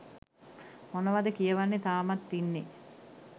මොනවද කියවන්නේ තාමත් ඉන්නේ